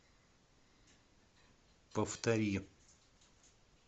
повтори